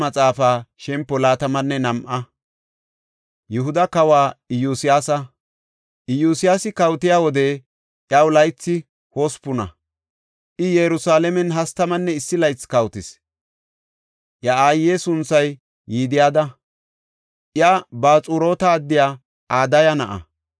Iyosyaasi kawotiya wode, iyaw laythi hospuna; I Yerusalaamen hastamanne issi laythi kawotis. Iya aaye sunthay Yidida; iya Baxuroota addiya Adaya na7a.